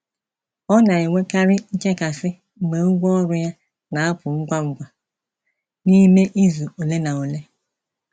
Ọ na-enwekarị nchekasị mgbe ụgwọ ọrụ ya na-apụ ngwa ngwa n’ime izu ole na ole.